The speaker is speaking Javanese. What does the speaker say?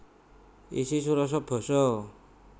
Isi surasa basa